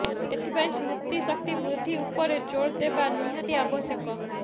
ଏଥିପାଇଁ ସ୍ମୃତିଶକ୍ତି ବୃଦ୍ଧି ଉପରେ ଜୋର୍ ଦେବା ନିହାତି ଆବଶ୍ୟକ